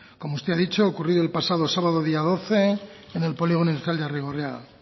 como usted ha dicho ha ocurrido el pasado sábado día doce en el polígono industrial de arrigorriaga